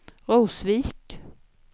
Rosvik